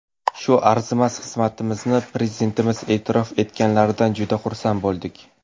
Shu arzimas xizmatimizni Prezidentimiz e’tirof etganlaridan juda xursand bo‘ldik.